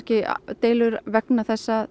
deilur vegna þess að